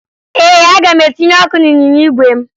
Ee, aga m etinye ọkụ n'ịnyịnya igwe m